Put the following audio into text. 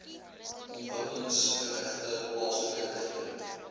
ontwikkelingsgerigte plaaslike regering